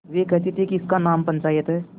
वे कहते थेइसका नाम पंचायत है